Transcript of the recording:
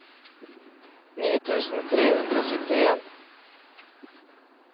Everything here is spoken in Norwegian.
ni tusen tre hundre og syttien